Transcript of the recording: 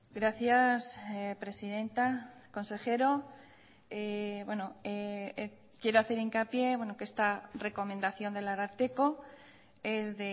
gracias presidenta consejero quiero hacer hincapié que esta recomendación del ararteko es